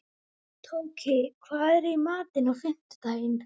Tóki, hvað er í matinn á fimmtudaginn?